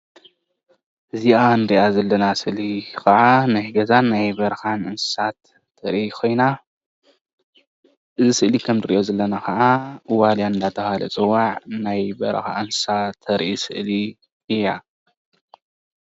እዚኣ እንሪኣ ዘለና ስእሊ ከኣ ናይ ገዛን ናይ በረኻን እንስሳት ተርኢ ኮይና እዚ ስእሊ ከም ንርእዮ ዘለና ከኣ ዋልያ እንዳተሃለ ዝፅዋዕ ናይ በረኻ እንስሳ ተርኢ ስእሊ እያ